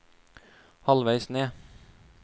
halvveis ned